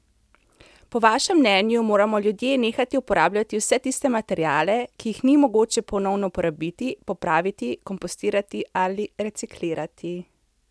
Po vašem mnenju moramo ljudje nehati uporabljati vse tiste materiale, ki jih ni mogoče ponovno uporabiti, popraviti, kompostirati ali reciklirati.